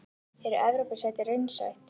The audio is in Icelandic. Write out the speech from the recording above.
Er Evrópusæti raunsætt?